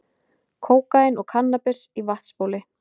Kókaín og kannabis í vatnsbóli